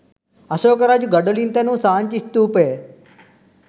අශෝක රජු ගඩොලින් තැනූ සාංචි ස්ථූපය